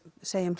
segjum